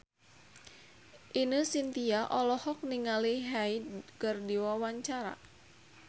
Ine Shintya olohok ningali Hyde keur diwawancara